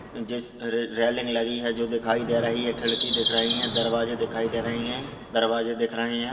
जिस रे रेलिंग लगी है जो दिखाई दे रही है खिड़की दिख रही है दरवाजे दिखाई दे रहि है दरवाजे दिख रहे है।